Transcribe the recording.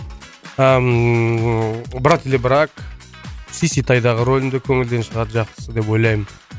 ыммм брат или брак сиситайдағы рөлімді көңілден шығады жақсы деп ойлаймын